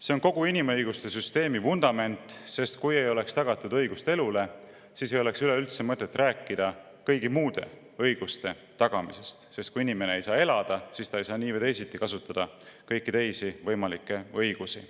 See on kogu inimõiguste süsteemi vundament, sest kui ei oleks tagatud õigust elule, siis ei oleks üleüldse mõtet rääkida kõigi muude õiguste tagamisest: kui inimene ei saa elada, siis nii või teisiti ei saa ta kasutada kõiki teisi võimalikke õigusi.